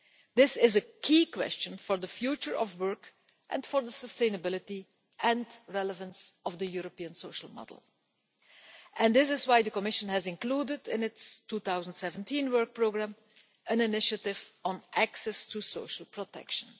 This is a key question for the future of work and for the sustainability and relevance of the European social model, and that is why the Commission has included in its 2017 Work Programme an initiative on access to social protection.